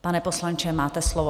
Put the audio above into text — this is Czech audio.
Pane poslanče, máte slovo.